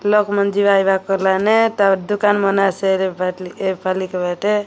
ଲୋକମାନେ ଯିବା ଆଇବା କରଲାନେ ତାପରେ ଦୁକାନ ମାନେ ସେର୍ ବାଟଲି ଏ ପାଲି କବାଟେ --